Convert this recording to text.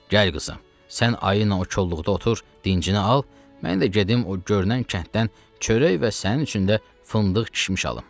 Gəl qızım, sən ayı ilə o kolluqda otur, dincini al, mən də gedim o görünən kənddən çörək və sənin üçün də fındıq kişmiş alım.